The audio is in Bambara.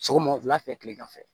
Sɔgɔma wula fɛ tilegan fɛ